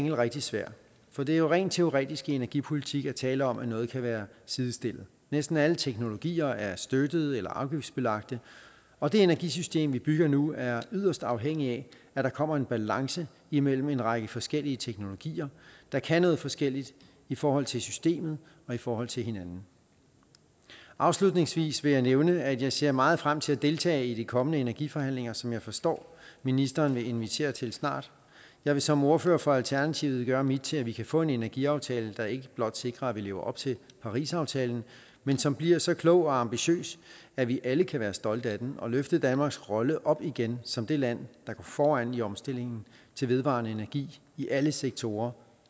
er rigtig svært for det er jo rent teoretisk i energipolitik at tale om at noget kan være sidestillet næsten alle teknologier er støttede eller afgiftsbelagte og det energisystem vi bygger nu er yderst afhængigt af at der kommer en balance imellem en række forskellige teknologier der kan noget forskelligt i forhold til systemet og i forhold til hinanden afslutningsvis vil jeg nævne at jeg ser meget frem til at deltage i de kommende energiforhandlinger som jeg forstår ministeren vil invitere til snart jeg vil som ordfører for alternativet gøre mit til at vi kan få en energiaftale der ikke blot sikrer at vi lever op til parisaftalen men som bliver så klog og ambitiøs at vi alle kan være stolte af den og kan løfte danmarks rolle op igen som det land der går foran i omstillingen til vedvarende energi i alle sektorer